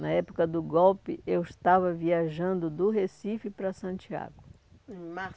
Na época do golpe, eu estava viajando do Recife para Santiago, em